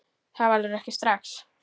Það verður ekki strax